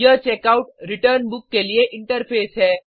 यह checkout return book के लिए इंटरफ़ेस है